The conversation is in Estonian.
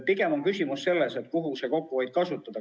Pigem on küsimus selles, kuhu see kokkuhoid suunata.